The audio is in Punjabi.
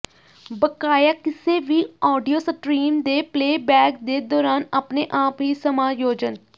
ਬਕਾਇਆ ਕਿਸੇ ਵੀ ਆਡੀਓ ਸਟਰੀਮ ਦੇ ਪਲੇਬੈਕ ਦੇ ਦੌਰਾਨ ਆਪਣੇ ਆਪ ਹੀ ਸਮਾਯੋਜਨ